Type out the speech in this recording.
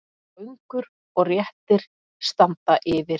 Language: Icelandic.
Göngur og réttir standa yfir.